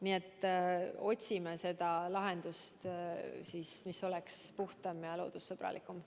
Nii et otsime lahendust, mis oleks puhtam ja loodussõbralikum.